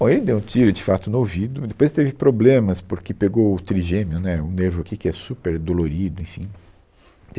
Bom, ele deu um tiro de fato no ouvido, depois teve problemas porque pegou o trigêmeo, né, o nervo aqui que é super dolorido, enfim.